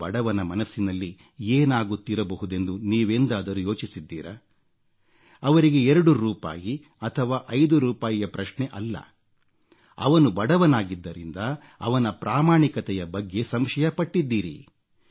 ಆ ಬಡವನ ಮನಸ್ಸಿನಲ್ಲಿ ಏನಾಗುತ್ತಿರಬಹುದೆಂದು ನೀವೆಂದಾದರೂ ಯೋಚಿಸಿದ್ದೀರಾ ಅವರಿಗೆ 2 ರೂಪಾಯಿ ಅಥವಾ 5 ರೂಪಾಯಿಯ ಪ್ರಶ್ನೆಯಲ್ಲ ಅವನು ಬಡವನಾಗಿದ್ದರಿಂದ ಅವನ ಪ್ರಾಮಾಣಿಕತೆಯ ಬಗ್ಗೆ ಸಂಶಯ ಪಟ್ಟಿದ್ದೀರಿ